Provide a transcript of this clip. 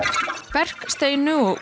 verk Steinu og